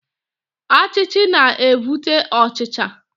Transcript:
Achichi na evute ochicha.